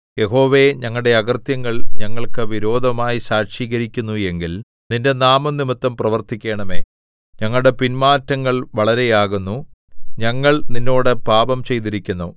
യഹോവേ ഞങ്ങളുടെ അകൃത്യങ്ങൾ ഞങ്ങൾക്കു വിരോധമായി സാക്ഷീകരിക്കുന്നു എങ്കിൽ നിന്റെ നാമംനിമിത്തം പ്രവർത്തിക്കണമേ ഞങ്ങളുടെ പിന്മാറ്റങ്ങൾ വളരെയാകുന്നു ഞങ്ങൾ നിന്നോട് പാപം ചെയ്തിരിക്കുന്നു